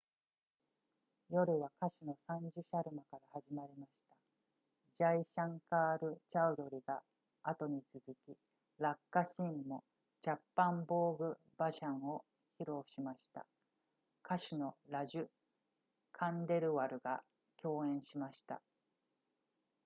夜は歌手のサンジュシャルマから始まりましたジャイシャンカールチャウドダリが後に続きラッカシンもチャッパンボーグバジャンを披露しました歌手のラジュカンデルワルが共演しました